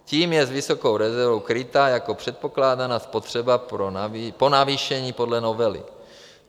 Tím je s vysokou rezervou krytá jeho předpokládaná spotřeba po navýšení podle novely.